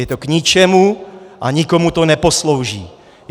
Je to k ničemu a nikomu to neposlouží.